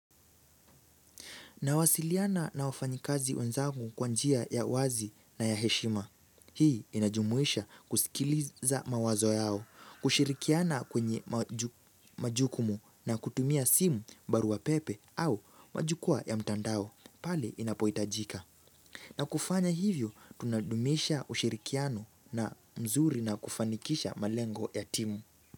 Nawasiliana na wafanyikazi wenzangu kwa njia ya wazi na ya heshima. Hii inajumuisha kusikiliza mawazo yao, kushirikiana kwenye majukumu na kutumia simu barua pepe au majukuwa ya mtandao, pale inapoitajika. Na kufanya hivyo, tunadumisha ushirikiano na mzuri na kufanikisha malengo ya timu.